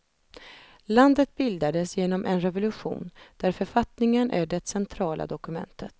Landet bildades genom en revolution där författningen är det centrala dokumentet.